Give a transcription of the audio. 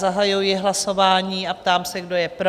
Zahajuji hlasování a ptám se, kdo je pro?